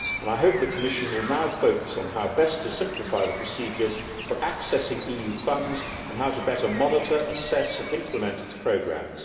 I hope the Commission will now focus on how best to simplify the procedures for accessing EU funds and how to better monitor, assess and implement its programmes.